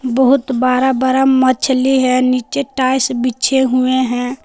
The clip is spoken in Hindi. बहोत बरा बरा मछली है नीचे टाइल्स बिछे हुए हैं।